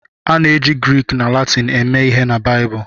A na-eji Grik na Latịn eme ihe na Baịbụl.